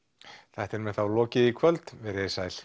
þættinum er þá lokið í kvöld veriði sæl